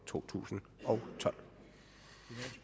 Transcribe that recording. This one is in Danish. to tusind og